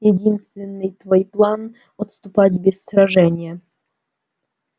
единственный твой план отступать без сражения